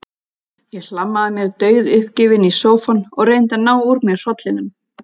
Ég hlammaði mér dauðuppgefin í sófann og reyndi að ná úr mér hrollinum.